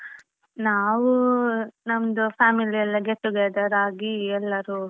ನಾವೂ ನಮ್ದು family ಯೆಲ್ಲಾ get together ಆಗಿ ಎಲ್ಲಾರು.